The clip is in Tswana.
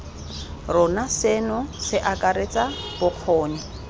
rona seno se akaretsa bokgoni